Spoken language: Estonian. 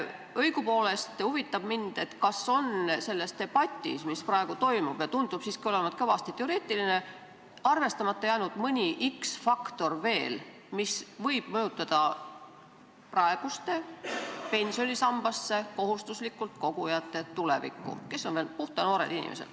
Õigupoolest huvitab mind, kas on selles debatis, mis praegu toimub ja tundub siiski olevat kõvasti teoreetiline, arvestamata jäänud mõni x-faktor, mis võib mõjutada praeguste pensionisambasse kohustuslikult kogujate tulevikku, kes on veel puhta noored inimesed.